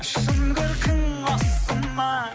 шын көркің осы ма